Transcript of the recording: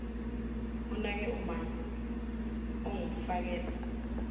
onake umama ongumfakela